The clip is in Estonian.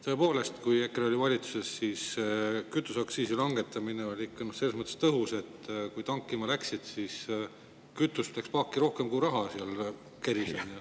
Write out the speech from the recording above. Tõepoolest, kui EKRE oli valitsuses, siis kütuseaktsiisi langetamine oli selles mõttes tõhus, et kui tankima läksid, siis kütust läks paaki rohkem, kui raha keris.